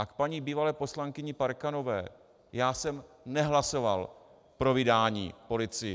A k paní bývalé poslankyni Parkanové - já jsem nehlasoval pro vydání policii.